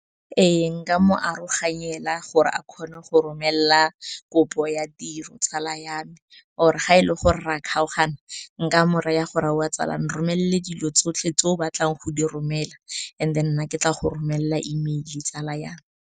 Ee, nka mo aroganyela gore a kgone go romela kopo ya tiro, tsala ya me. Or ga ele gore re a kgaogana, nka mo raya gore aowa tsala, nromelele dilo tsotlhe tse o batlang go di romela, and then nna ke tla go romela email tsala ya me.